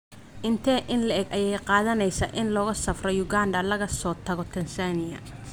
Intee in le'eg ayay qaadanaysaa in looga safro Uganda laga soo tago Tansaaniya?